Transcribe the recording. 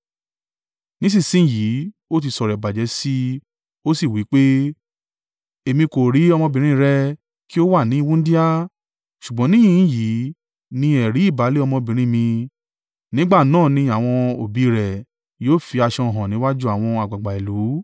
Ní ìsinsin yìí ó ti sọ̀rọ̀ ìbàjẹ́ sí i ó sì wí pé, ‘Èmi kò rí ọmọbìnrin rẹ kí ó wà ní wúńdíá.’ Ṣùgbọ́n níhìn-ín yìí ni ẹ̀rí ìbálé ọmọbìnrin mi.” Nígbà náà ni àwọn òbí rẹ̀ yóò fi aṣọ hàn níwájú àwọn àgbàgbà ìlú,